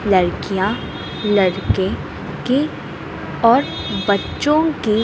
लड़कियां लड़के के और बच्चों के--